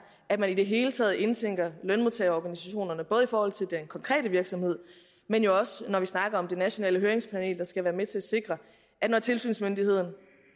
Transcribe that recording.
at man i det hele taget indtænker lønmodtagerorganisationerne både i forhold til den konkrete virksomhed men jo også når vi snakker om det nationale høringspanel der skal være med til at sikre at når tilsynsmyndigheden